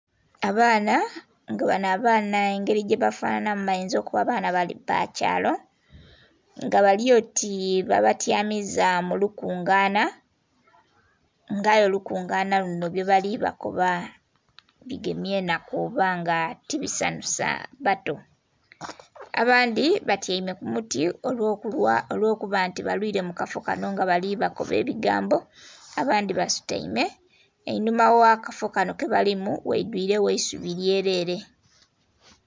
Abaana nga bano abaana engeri gyebafanhanhamu bayinza okuba baana ba kyalo nga bali oti babatyamiza mu lukungana nga aye olukungana luno byebali bakoba bigemya enhaku oba nga tibisanhusa bato, abandhi batyaime ku muti olwokuba nti balwiire mu kafo kano nga bali bakoba ebigambo abandhi basutaime einhuma gh'akafo kano kebalimu ghaidhwiregho eisubi lyelere.